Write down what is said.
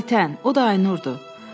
Ayten, o da Aynurdur.